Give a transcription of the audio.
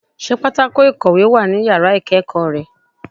Sé pátákó ìkòwé wà ní yàrá ìkéèkó re